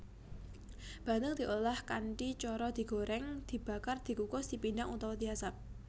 Bandeng diolah kanthi cara digorèng dibakar dikukus dipindang utawa diasap